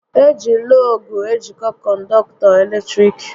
Eji lọọgụ ejiko kọndọktọ eletrik